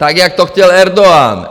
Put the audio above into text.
Tak jak to chtěl Erdogan.